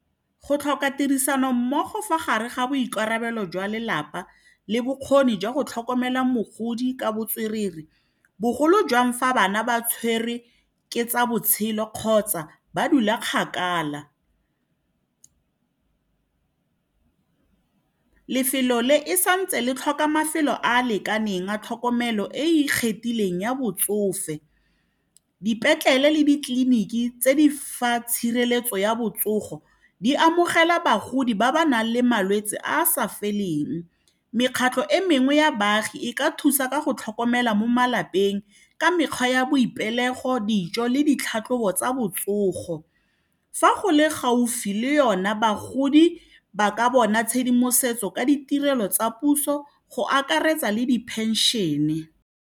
Go tlhoka tirisanommogo fa gare ga boikarabelo jwa lelapa le bokgoni jwa go tlhokomela mogodi ka botswerere bogolo jwang fa bana ba tshwerwe ke tsa botshelo kgotsa ba dula kgakala lefelo le e santse le tlhoka mafelo a a lekaneng a tlhokomelo e ikgethileng ya botsofe dipetlele le ditleliniki tse di fa tshireletso ya botsogo di amogela bagodi ba ba nang le malwetse a a sa feleng mekgatlho e mengwe ya baagi e ka thusa ka go tlhokomela mo malapeng ka mekgwa ya boipelego dijo le ditlhatlhobo tsa botsogo fa go le gaufi le yona bagodi ba ka bona tshedimosetso ka ditirelo tsa puso go akaretsa le di pension-e.